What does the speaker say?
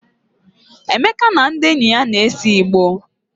Emeka na ndị enyi ya na-ese igbo.